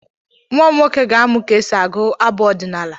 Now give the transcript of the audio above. Nwa m nwoke ga-amụ ka esi agụ abụ ọdịnala.